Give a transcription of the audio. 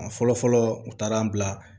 A fɔlɔ fɔlɔ u taara an bila